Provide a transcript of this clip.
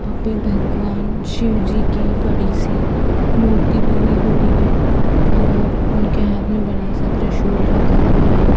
यहाँ पे भगवान शिवजी की बड़ी सी मूर्ति बनी हुई है और उनके हाथ में बड़ा सा त्रिशूल रखा हुआ है।